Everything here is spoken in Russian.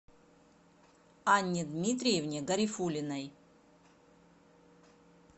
анне дмитриевне гарифуллиной